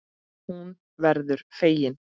Hún verður fegin.